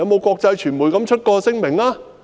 國際傳媒曾否發出聲明？